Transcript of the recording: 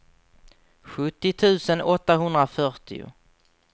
sjuttio tusen åttahundrafyrtio